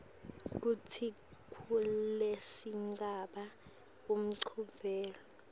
kutsi kulesigaba uphendvule